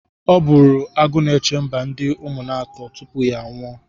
Ọ bụụrụ Agụnechemba ndị Ụmụnatọ tupu ya anwụọ.